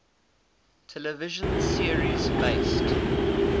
television series based